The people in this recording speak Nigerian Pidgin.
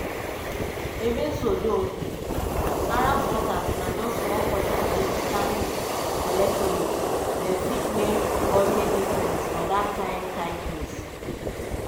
so even though um arab voters na just small portion of michigan electorate dem fit make ogbonge difference for dat kain type race.